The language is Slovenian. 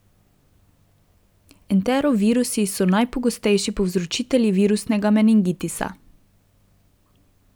Entero virusi so najpogostejši povzročitelji virusnega meningitisa.